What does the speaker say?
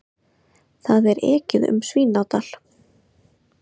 Það er ekið um Svínadal.